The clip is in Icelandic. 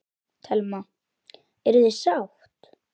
Telma: Eruð þið sátt?